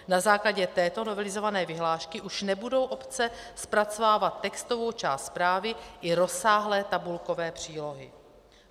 Na základě této novelizované vyhlášky už nebudou obce zpracovávat textovou část zprávy i rozsáhlé tabulkové přílohy.